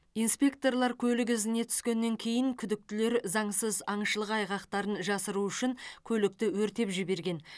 инспекторлар көлік ізіне түскеннен кейін күдіктілер заңсыз аңшылық айғақтарын жасыру үшін көлікті өртеп жіберген